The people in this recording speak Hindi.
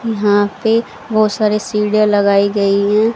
यहां पे बहुत सारे सीढ़ियां लगाई गई हैं।